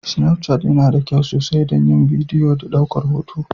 Snafchat yana da kyau sosai don yin bidiyo da ɗaukar hoto.